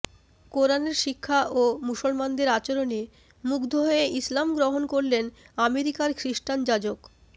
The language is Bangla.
কুরআনের শিক্ষা ও মুসলমানদের আচরণে মুগ্ধ হয়ে ইসলাম গ্রহণ করলেন আমেরিকার খ্রিস্টান যাজক